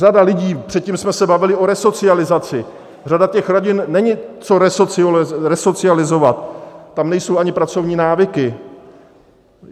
Řada lidí, předtím jsme se bavili o resocializaci, řada těch rodin - není co resocializovat, tam nejsou ani pracovní návyky.